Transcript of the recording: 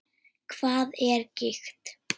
Hvað er gigt?